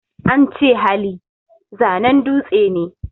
Ance Hali, zanen dutse ne